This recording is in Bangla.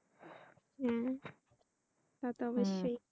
হ্যাঁ তাতো অব্যশই